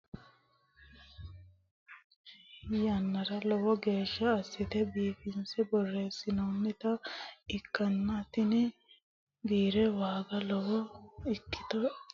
Kunni borrote uduunnicho biirete tinni biire boreesinnanni yannara lowo geesha asite biifise boreesitanoha ikitanna tinni biire waagga lowo ikitino daafiri biirote mannila horoonsirano.